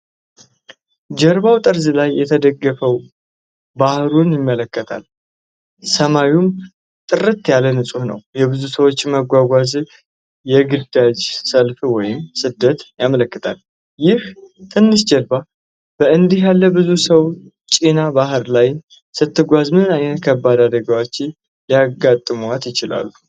ጀልባው ጠርዝ ላይ ተደግፈው ባህሩን ይመለከታሉ፣ ሰማዩም ጥርት ያለና ንጹህ ነው። የብዙ ሰዎች መጓጓዝ የግዳጅ ፍልሰት ወይም ስደትን ያመለክታል። ይህች ትንሽ ጀልባ በእንዲህ ያለ ብዙ ሰው ጭና በባህር ላይ ስትጓዝ ምን ዓይነት ከባድ አደጋዎች ሊያጋጥሟት ይችላሉ?